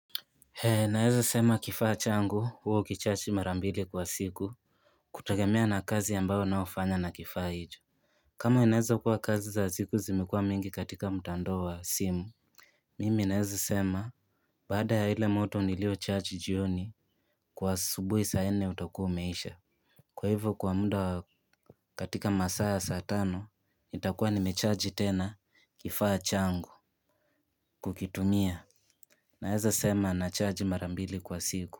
Naeza sema kifaa changu huwa hukicharge mara mbili kwa siku kutegemea na kazi ambayo nayofanya na kifaa hicho. Kama inaeza kuwa kazi za siku zimekua mingi katika mtandao wa simu Mimi naeza sema baada ya ile moto niliocharge jioni, kwa asubuhi saa nne utakuwa umeisha. Kwa hivyo kwa muda katika masaa ya saa tano nitakuwa nimecharge tena kifaa changu kukitumia. Naeza sema nacharge mara mbili kwa siku.